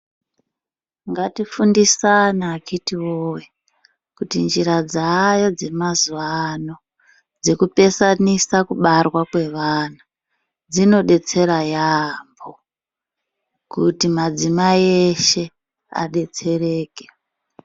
Ngatifundisane akhiti woye kuti njira dzaayo dzemazuwa ano dzekupesanisa kubarwa kwevana dzinodetsera yaambho kuti madzimai eshe adetsereke.